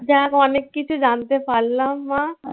যাক অনেক কিছু জানতে পারলাম মা